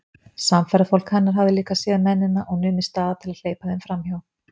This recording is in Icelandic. Samferðafólk hennar hafði líka séð mennina og numið staðar til að hleypa þeim framhjá.